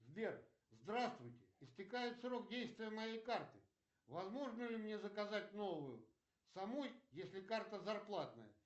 сбер здравствуйте истекает срок действия моей карты возможно ли мне заказать новую самой если карта зарплатная